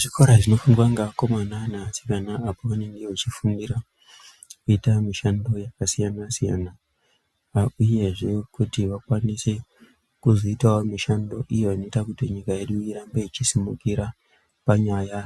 Zvikora zvinofundwa ngevakomana nevasikana apo vanenge vachifundira kuita mishando yakasiyana-siyana. uyezve kuti vakwanise kuzoitavo mishando iyo inoita kuti nyika yedu irambe ichisimukira panyaya